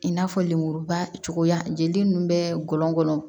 I n'a fɔ lenmuruba cogoya jeli nunnu bɛ gɔlɔngɔnɔ